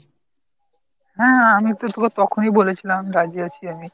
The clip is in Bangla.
হাঁ হাঁ আমি তো তোকে তখনই বলেছিলাম রাজী আছি আমি।